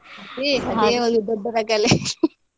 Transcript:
ಅದೇ ಅದೇ ಒಂದು ದೊಡ್ಡ ರಗಳೆ .